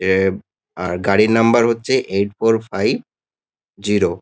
এ আর গাড়ির নাম্বার হচ্ছে এইট ফোর ফাইভ জিরো ।